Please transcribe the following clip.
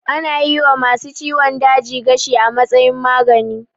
Ana yi wa ma su ciwon daji gashi a matsayin magani